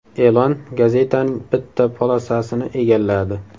E’lon gazetaning bitta polosasini egalladi.